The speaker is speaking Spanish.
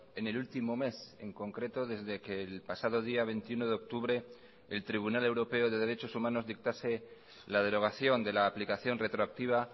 en el último mes en concreto desde que el pasado día veintiuno de octubre el tribunal europeo de derechos humanos dictase la derogación de la aplicación retroactiva